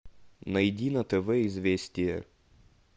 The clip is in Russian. найди на тв известия